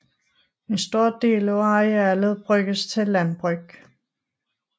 En stor del af arealet bruges til landbrug